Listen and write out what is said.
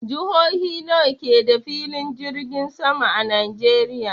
Jihohi nawa ke da filin jirgin sama a Najeriya?